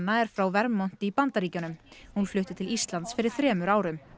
er frá Vermont í Bandaríkjunum hún flutti til Íslands fyrir þremur árum